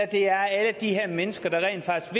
det er alle de her mennesker der rent faktisk